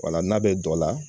Wala n'a bɛ dɔ la